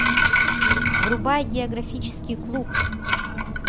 врубай географический клуб